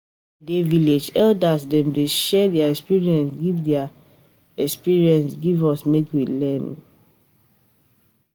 Wen I dey village, elders dem dey share their experience give their experience give us make we learn.